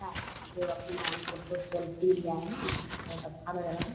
है जो अपना फोटो सेल्फ़ी लिया है यह फोटू बहोत अच्छा लग रहा है।